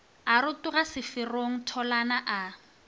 a rotoga seferong tholana a